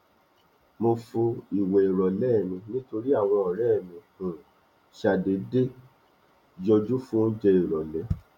mo fo ìwẹ ìrọlẹ mi nítorí àwọn ọrẹ mi um ṣàdédé yọjú fún oúnjẹ ìrọlẹ